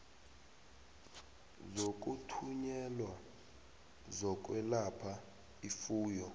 zokuthunyelwa zokwelapha ifuyo